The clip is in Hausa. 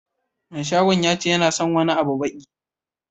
Mai shagon yace yana son wani abun waki.